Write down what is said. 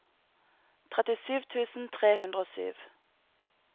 trettisju tusen tre hundre og sju